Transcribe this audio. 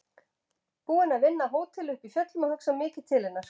Búin að vinna á hóteli uppi í fjöllum og hugsa mikið til hennar.